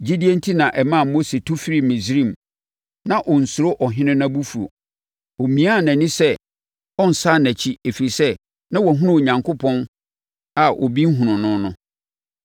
Gyidie enti na ɛmaa Mose tu firii Misraim a na ɔnsuro ɔhene no abufuo. Ɔmiaa nʼani sɛ ɔrensane nʼakyi ɛfiri sɛ na wahunu Onyankopɔn a obi nhunu no no.